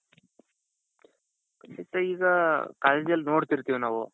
ಖಂಡಿತಾ ಈಗ collegeಜಲ್ಲಿ ನೋಡ್ತಿರ್ತೀವಿ ನಾವು.